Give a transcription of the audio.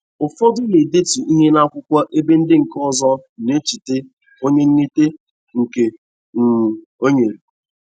Ụfọdụ na-edetu ihe n'akwụkwọ ebe ndị nke ozọ na-echeta onye nyete nke um o nyere.